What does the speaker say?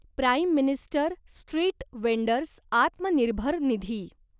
prime minister street vendors Atmanirbhar Nidhi